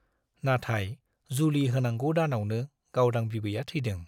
नाथाय जुलि होनांगौ दानावनो गावदां बिबैया थैदों।